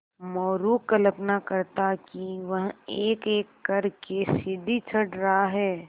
मोरू कल्पना करता कि वह एकएक कर के सीढ़ी चढ़ रहा है